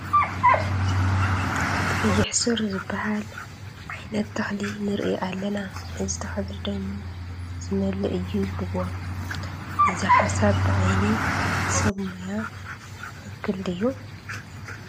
ቀይሕ ሱር ዝበሃል ዓይነት ተኽሊ ንርኢ ኣለና፡፡ እዚ ተኽሊ ደም ዝመልእ እዩ ይብልዎ፡፡ እዚ ሓሳብ ብዓይኒ ሰብ ሞያ ትኽኽል ዮዩ?